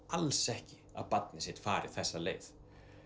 alls ekki að barnið sitt fari þessa leið